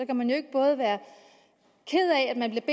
kan man jo ikke både være ked af at man